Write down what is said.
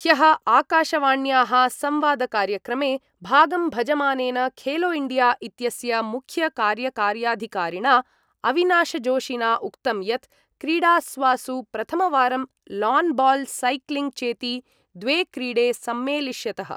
ह्यः आकशवाण्याः संवादकार्यक्रमे भागं भजमानेन खेलोइण्डिया इत्यस्य मुख्यकार्यकार्याधिकारिणा अविनाशजोशिना उक्तं यत् क्रीडास्वासु प्रथमवारं लान् बाल् सैक्लिङ्ग् चेति द्वे क्रीडे सम्मेलिष्यतः।